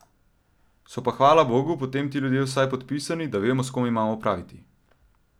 So pa, hvala bogu, potem ti ljudje vsaj podpisani, da vemo, s kom imamo opraviti.